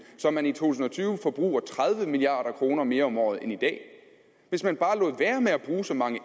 så man i to tusind og tyve forbruger tredive milliard kroner mere om året end i dag hvis man bare lod være med at bruge så mange